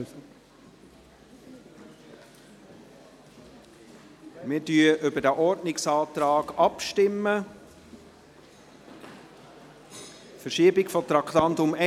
Wir stimmen über den Ordnungsantrag ab betreffend die Verschiebung von Traktandum